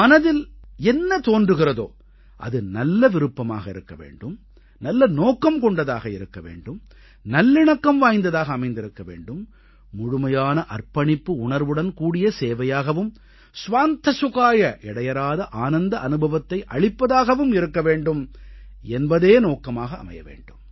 மனதிl என்ன தோன்றுகிறதோ அது நல்ல விருப்பமாக இருக்க வேண்டும் நல்ல நோக்கம் கொண்டதாக இருக்க வேண்டும் நல்லிணக்கம் வாய்ந்ததாக அமைந்திருக்க வேண்டும் முழுமையான அர்ப்பணிப்பு உணர்வுடன்கூடிய சேவையாகவும் ஸ்வாந்த சுகாய இடையறாத ஆனந்த அனுபவத்தை அளிப்பதாகவும் இருக்க வேண்டும் என்பதே நோக்கமாக அமைய வேண்டும்